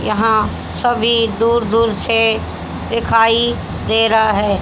यहां सभी दूर दूर से दिखाई दे रहा है।